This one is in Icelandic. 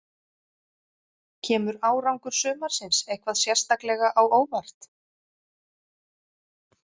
Kemur árangur sumarsins eitthvað sérstaklega á óvart?